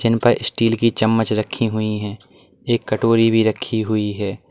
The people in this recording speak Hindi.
इन पर स्टील की चम्मच रखी हुई है एक कटोरी भी रखी हुई है।